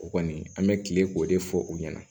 O kɔni an bɛ kile k'o de fɔ u ɲɛna